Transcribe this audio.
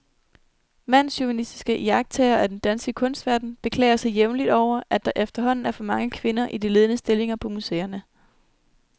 Mandschauvinistiske iagttagere af den danske kunstverden beklager sig jævnligt over, at der efterhånden er for mange kvinder i de ledende stillinger på museerne.